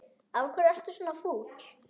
Af hverju ertu svona fúll?